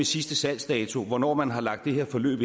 sidste salgsdato at hvornår man har lagt det her forløb